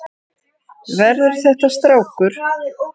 Verður þetta strákur?